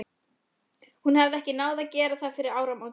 Hún hafði ekki náð að gera það fyrir áramótin.